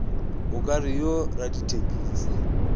o ka re yo radithekisi